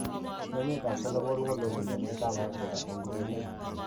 Emet ab Senegal kondojin emet ab Afrika eng ureriet.